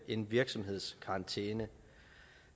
en virksomhedskarantæne